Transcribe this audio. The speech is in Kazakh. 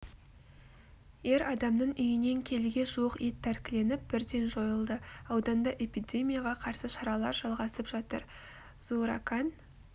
ер адамның үйінен келіге жуық ет тәркіленіп бірден жойылды ауданда эпидемияға қарсы шаралар жалғасып жатыр зууракан